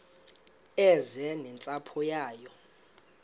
eze nentsapho yayo